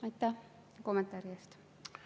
Aitäh kommentaari eest!